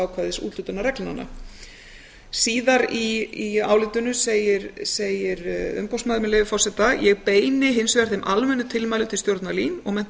ákvæðis úthlutunarreglnanna síðar í álitinu segir umboðsmaður með leyfi forseta ég beini hins vegar þeim almennu tilmælum til stjórnar lín og mennta og